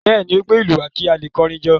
Bẹ́ẹ̀ ni, ó gbé ìlú wá kí a lè kọrin jó.